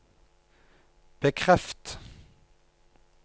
bekreft